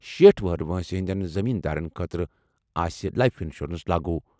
شیٹھ وُہُر وٲنٛسہِ ہِنٛدیٚن زٔمیٖن دارن خٲطرٕ آسہِ لایِف اِنشورَنٛس لاگوٗ۔